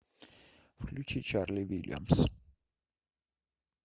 включить чарли вильямс